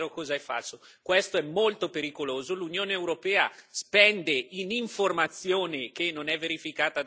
L'Unione europea spende in informazione, che non è verificata da nessuno, molti milioni di euro ogni anno.